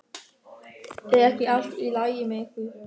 Er ekki allt í lagi með ykkur?